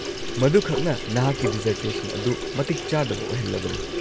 -ꯃꯗꯨꯈꯛꯅ ꯅꯍꯥꯛꯀꯤ ꯗꯤꯖꯔꯇꯦꯁꯟ ꯑꯗꯨ ꯃꯇꯤꯛ ꯆꯥꯗꯕ ꯑꯣꯏꯍꯜꯂꯕꯅꯤ꯫